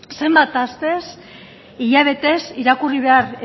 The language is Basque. zenbat astez hilabetez irakurri behar